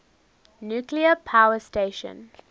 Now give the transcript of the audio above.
nuclear power station